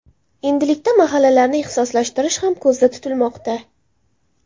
Endilikda mahallalarni ixtisoslashtirish ham ko‘zda tutilmoqda.